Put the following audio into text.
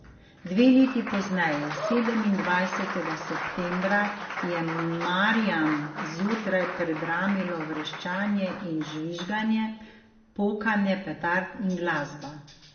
Dve leti pozneje, sedemindvajsetega septembra, je Marjam zjutraj predramilo vreščanje in žvižganje, pokanje petard in glasba.